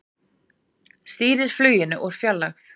Stýrir fluginu úr fjarlægð